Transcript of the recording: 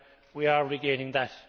we are regaining that.